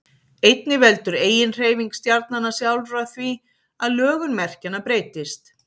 einnig veldur eiginhreyfing stjarnanna sjálfra því að lögun merkjanna breytist